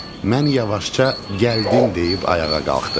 Mən yavaşca gəldim deyib ayağa qalxdım.